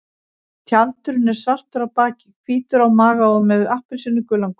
Tjaldurinn er svartur á baki, hvítur á maga og með appelsínugulan gogg.